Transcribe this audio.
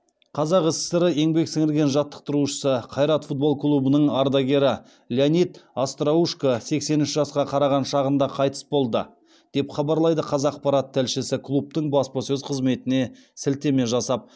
қазақ сср еңбек сіңірген жаттықтырушысы қайрат футбол клубының ардагері леонид остроушко сексен үш жасқа қараған шағында қайтыс болды деп хабарлайды қазақпарат тілшісі клубтың баспасөз қызметіне сілтеме жасап